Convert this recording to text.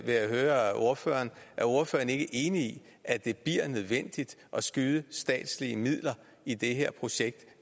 jeg høre ordføreren er ordføreren ikke enig at det bliver nødvendigt at skyde statslige midler i det her projekt